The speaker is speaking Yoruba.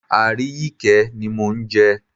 Aríyìíkẹ́ ni mò ń jẹ́.